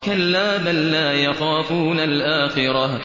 كَلَّا ۖ بَل لَّا يَخَافُونَ الْآخِرَةَ